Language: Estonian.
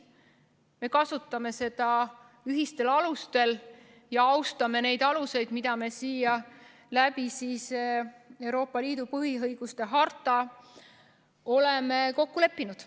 Me kasutame seda ühistel alustel ja austame neid aluseid, milles me Euroopa Liidu põhiõiguste hartas oleme kokku leppinud.